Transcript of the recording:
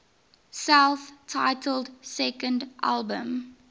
self titled second album